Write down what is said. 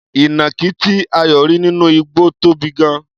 Ìnàkí tí Ayọ̀ rí nínú igbó tóbi gan-an.